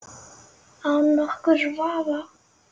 Án nokkurs vafa!